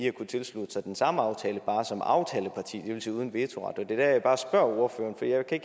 at kunne tilslutte sig den samme aftale men bare som aftaleparti det vil sige uden vetoret det er jeg bare spørger ordføreren for jeg kan